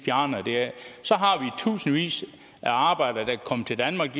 tusindvis af arbejdere der kommer til danmark